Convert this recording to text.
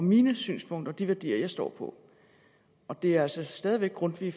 mine synspunkter og de værdier jeg står for og det er altså stadig væk grundtvig